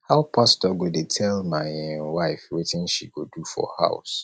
how pastor go dey tell my um wife wetin she go do for house